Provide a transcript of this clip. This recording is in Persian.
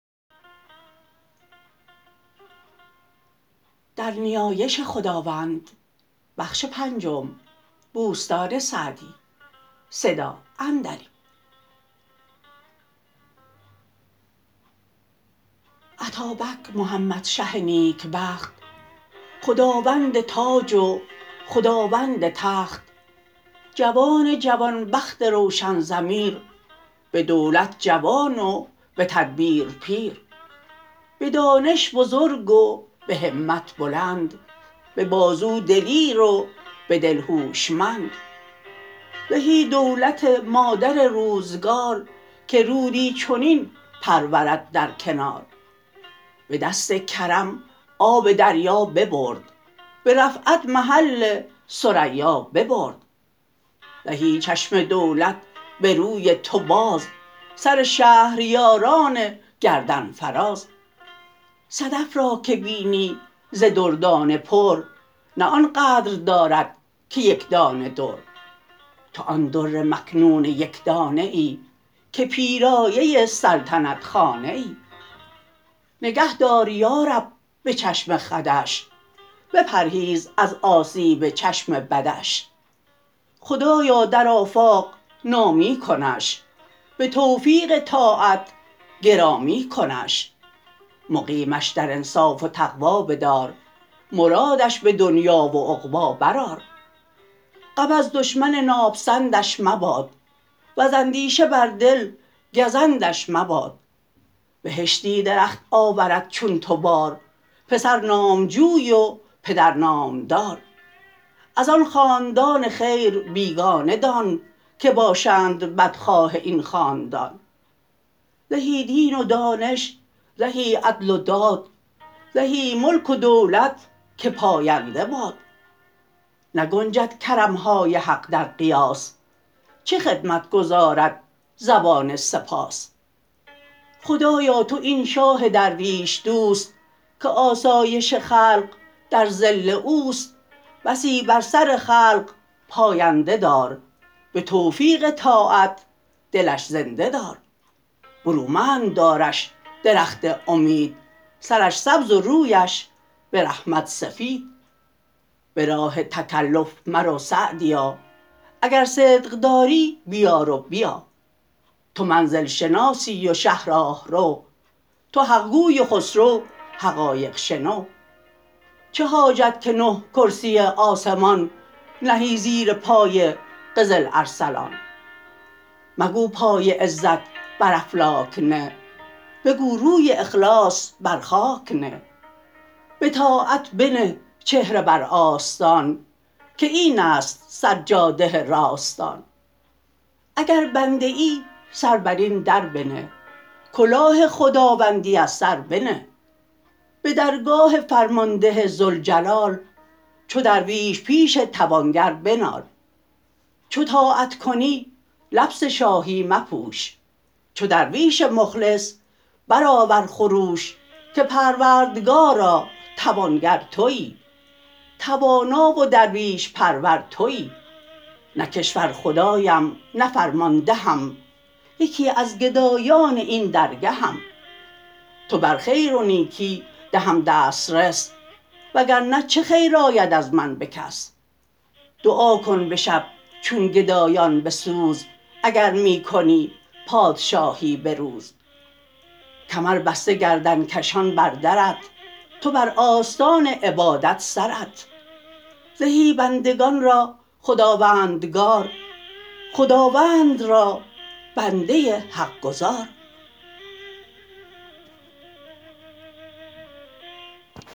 اتابک محمد شه نیکبخت خداوند تاج و خداوند تخت جوان جوان بخت روشن ضمیر به دولت جوان و به تدبیر پیر به دانش بزرگ و به همت بلند به بازو دلیر و به دل هوشمند زهی دولت مادر روزگار که رودی چنین پرورد در کنار به دست کرم آب دریا ببرد به رفعت محل ثریا ببرد زهی چشم دولت به روی تو باز سر شهریاران گردن فراز صدف را که بینی ز دردانه پر نه آن قدر دارد که یکدانه در تو آن در مکنون یکدانه ای که پیرایه سلطنت خانه ای نگه دار یارب به چشم خودش بپرهیز از آسیب چشم بدش خدایا در آفاق نامی کنش به توفیق طاعت گرامی کنش مقیمش در انصاف و تقوی بدار مرادش به دنیا و عقبی برآر غم از دشمن ناپسندش مباد وز اندیشه بر دل گزندش مباد بهشتی درخت آورد چون تو بار پسر نامجوی و پدر نامدار از آن خاندان خیر بیگانه دان که باشند بدخواه این خاندان زهی دین و دانش زهی عدل و داد زهی ملک و دولت که پاینده باد نگنجد کرمهای حق در قیاس چه خدمت گزارد زبان سپاس خدایا تو این شاه درویش دوست که آسایش خلق در ظل اوست بسی بر سر خلق پاینده دار به توفیق طاعت دلش زنده دار برومند دارش درخت امید سرش سبز و رویش به رحمت سفید به راه تکلف مرو سعدیا اگر صدق داری بیار و بیا تو منزل شناسی و شه راهرو تو حقگوی و خسرو حقایق شنو چه حاجت که نه کرسی آسمان نهی زیر پای قزل ارسلان مگو پای عزت بر افلاک نه بگو روی اخلاص بر خاک نه بطاعت بنه چهره بر آستان که این است سر جاده راستان اگر بنده ای سر بر این در بنه کلاه خداوندی از سر بنه به درگاه فرمانده ذوالجلال چو درویش پیش توانگر بنال چو طاعت کنی لبس شاهی مپوش چو درویش مخلص برآور خروش که پروردگارا توانگر تویی توانا و درویش پرور تویی نه کشور خدایم نه فرماندهم یکی از گدایان این درگهم تو بر خیر و نیکی دهم دسترس وگر نه چه خیر آید از من به کس دعا کن به شب چون گدایان به سوز اگر می کنی پادشاهی به روز کمر بسته گردن کشان بر درت تو بر آستان عبادت سرت زهی بندگان را خداوندگار خداوند را بنده حق گزار